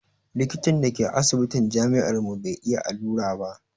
Likitan da ke asibitin jami'ar mu bai iya allura ba